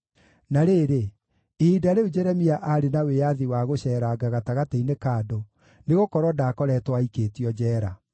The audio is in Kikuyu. Na rĩrĩ, ihinda rĩu Jeremia aarĩ na wĩyathi wa gũceeranga gatagatĩ-inĩ ka andũ, nĩgũkorwo ndaakoretwo aikĩtio njeera.